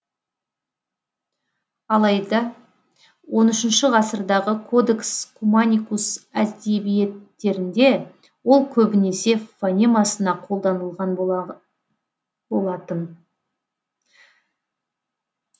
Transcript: алайда он үшінші ғасырдағы кодекс куманикус әдебиеттерінде ол көбінесе фонемасына қолданылған болатын